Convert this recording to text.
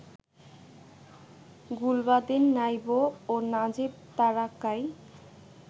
গুলবাদিন নাইব ও নাজীব তারাকাই